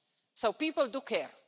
So people do care.